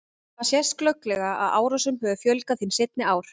Þar sést glögglega að árásum hefur fjölgað hin seinni ár.